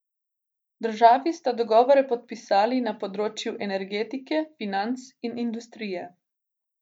Državi sta dogovore podpisali na področjih energetike, financ in industrije.